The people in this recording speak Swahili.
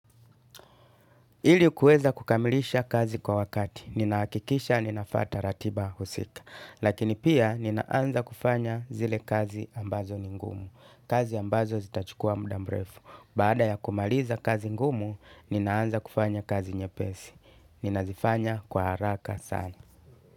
Ili ukaweza kukamilisha kazi kwa wakati. Ninaakikisha, ninafuata ratiba husika. Lakini pia, ninaanza kufanya zile kazi ambazo ni ngumu. Kazi ambazo zitachukua muda mrefu. Baada ya kumaliza kazi ngumu, ninaanza kufanya kazi nyepesi. Ninazifanya kwa haraka sana.